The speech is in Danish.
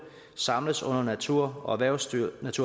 samles under naturerhvervsstyrelsens